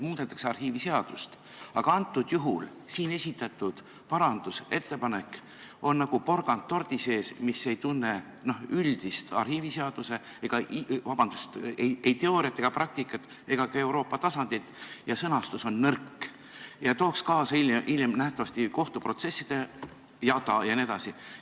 Muudetakse arhiiviseadust, aga siin esitatud parandusettepanek on nagu porgand tordi sees, mis ei tunne arhiiviseaduse ei teooriat ega praktikat ega ka Euroopa tasandit ja sõnastus on nõrk ning see tooks hiljem nähtavasti kaasa kohtuprotsesside jada jne.